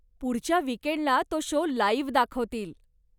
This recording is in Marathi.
पुढच्या विकेंडला तो शो लाइव्ह दाखवतील.